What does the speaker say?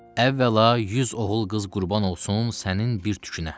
Əvvəla 100 oğul qız qurban olsun sənin bir tükünə.